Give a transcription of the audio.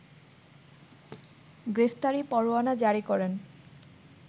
গ্রেফতারি পরোয়ানা জারি করেন